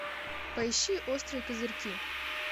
поищи острые козырьки